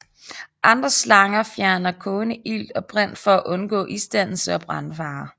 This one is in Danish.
Andre slanger fjerner kogende ilt og brint for at undgå isdannelse og brandfare